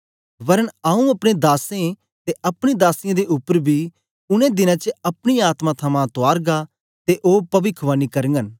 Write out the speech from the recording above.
वरन आंऊँ अपने दासें ते अपनी दासियें दे उपर बी उनै दिनें च अपनी आत्मा थमां तुआरगा ते ओ पविखवाणी करगन